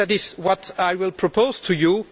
At least that is what I will propose to you